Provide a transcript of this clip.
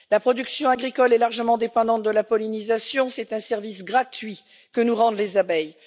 La production agricole est largement dépendante de la pollinisation, c'est un service gratuit que nous rendent les abeilles.